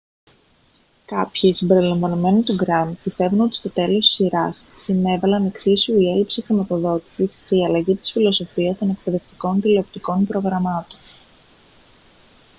κάποιοι συμπεριλαμβανομένου του grant πιστεύουν ότι στο τέλος της σειράς συνέβαλαν εξίσου η έλλειψη χρηματοδότησης και η αλλαγή της φιλοσοφίας των εκπαιδευτικών τηλεοπτικών προγραμμάτων